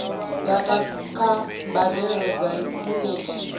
data kha mbadelo dza yunithi